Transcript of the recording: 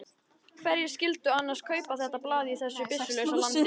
Hverjir skyldu annars kaupa þetta blað í þessu byssulausa landi?